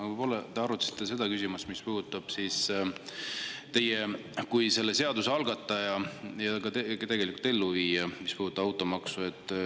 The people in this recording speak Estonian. Aga võib-olla te arutasite seda küsimust, mis puudutab teid kui selle automaksu puudutava seaduse algatajat ja tegelikult ka elluviijat.